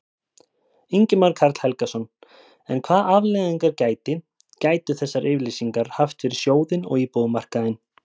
Ingimar Karl Helgason: En hvað afleiðingar gæti, gætu þessar yfirlýsingar haft fyrir sjóðinn og íbúðamarkaðinn?